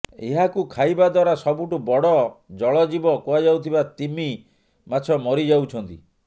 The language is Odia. ଏହାକୁ ଖାଇବା ଦ୍ୱାରା ସବୁଠୁ ବଡ଼ ଜଳଜୀବ କୁହାଯାଉଥିବା ତିମି ମାଛ ମରିଯାଉଛନ୍ତି